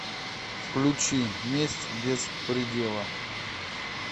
включи месть без предела